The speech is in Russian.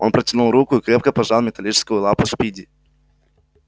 он протянул руку и крепко пожал металлическую лапу спиди